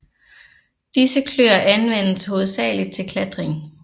Disse kløer anvendes hovedsageligt til klatring